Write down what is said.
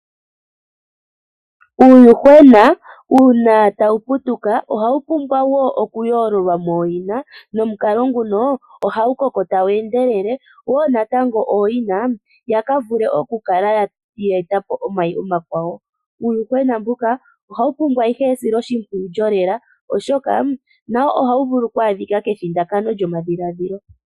Uuyuhwena uuna tawu putuka ohawu pumbwa wo okuyoololwa mooyina, nomukalo nguno ohawu koko tawu endelele, wo natango ooyina yakavule okukala ya eta po omayi gawo. Uuyuhwena mbuka ohawu pumbwa ihe esilo shimpwiyu lyolela oshoka nawo ohawu vulu oku adhika kethindakano lyomadhiladhilo.